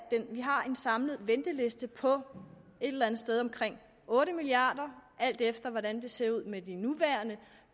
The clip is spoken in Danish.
vi har en samlet venteliste på et eller andet sted omkring otte milliard kr alt efter hvordan det ser ud med de nuværende